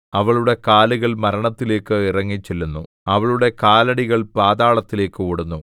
അവളുടെ കാലുകൾ മരണത്തിലേക്ക് ഇറങ്ങിച്ചെല്ലുന്നു അവളുടെ കാലടികൾ പാതാളത്തിലേക്ക് ഓടുന്നു